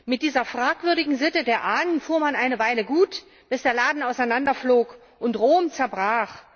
Mit dieser fragwürdigen Sitte der Ahnen fuhr man eine Weile gut, bis der Laden auseinanderflog und Rom zerbrach.